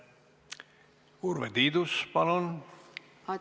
Urve Tiidus, palun!